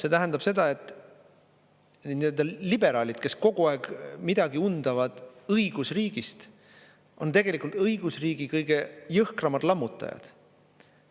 See tähendab seda, et need liberaalid, kes kogu aeg midagi undavad õigusriigist, on tegelikult õigusriigi kõige jõhkramad lammutajad.